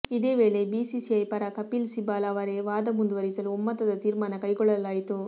ಇದೇ ವೇಳೆ ಬಿಸಿಸಿಐ ಪರ ಕಪಿಲ್ ಸಿಬಾಲ್ ಅವರೇ ವಾದ ಮುಂದುವರಿಸಲು ಒಮ್ಮತದ ತಿರ್ಮಾನ ಕೈಗೊಳ್ಳ ಲಾಯಿತು